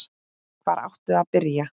Hvar áttu að byrja?